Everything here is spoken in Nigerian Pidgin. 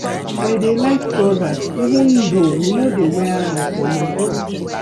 I dey like trousers even though we no dey wear am for my church